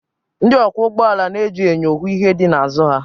Ndị ọkwọ ụgbọala na-eji enyo hụ ihe dị n'azụ ha